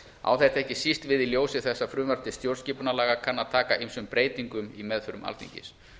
á þetta ekki síst við í ljósi þess að frumvarp til stjórnarskipunarlaga kann að taka ýmsum breytingum í meðförum alþingis